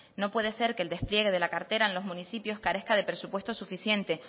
no puede ser que el despliegue de la cartera en los municipios carezca de presupuestos suficientes